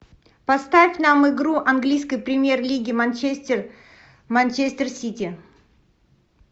поставь нам игру английской премьер лиги манчестер манчестер сити